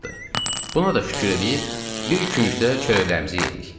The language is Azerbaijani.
Buna da şükür eləyib, bir küncdə çörəyimizi yedik.